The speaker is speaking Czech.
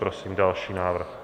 Prosím další návrh.